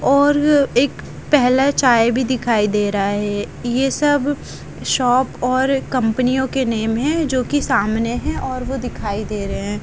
और एक पहेला चाय भी दिखाई दे रहा है ये सब शॉप और कंपनियो के नेम हैं जोकि सामने हैं और वो दिखाई दे रहे--